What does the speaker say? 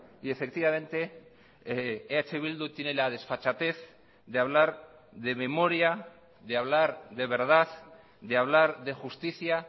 y efectivamente eh bildu tiene la desfachatez de hablar de memoria de hablar de verdad de hablar de justicia